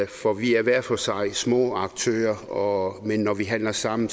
for vi er hver for sig små aktører men når vi handler sammen